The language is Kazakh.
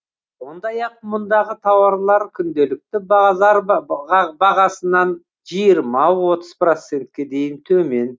сондай ақ мұндағы тауарлар күнделікті базар бағасынан процентке дейін төмен